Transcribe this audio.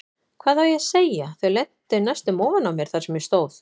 Hvað á ég að segja, þau lentu næstum ofan á mér þar sem ég stóð.